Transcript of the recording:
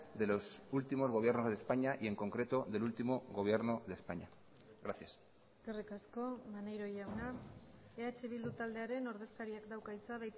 de los últimos gobiernos de españa y en concreto del último gobierno de españa gracias eskerrik asko maneiro jauna eh bildu taldearen ordezkariak dauka hitza